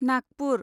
Nagpur